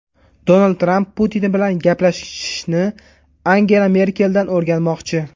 Donald Tramp Putin bilan gaplashishni Angela Merkeldan o‘rganmoqchi.